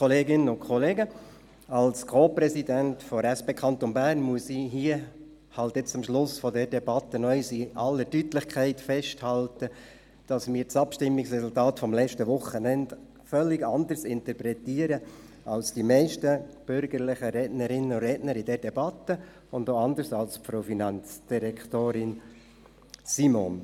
Als Co-Präsident der SP Kanton Bern muss ich hier, am Ende der Debatte, noch einmal in aller Deutlichkeit festhalten, dass wir das Abstimmungsresultat des letzten Wochenendes völlig anders interpretieren als die meisten bürgerlichen Rednerinnen und Redner in dieser Debatte und auch anders als Frau Finanzdirektorin Simon.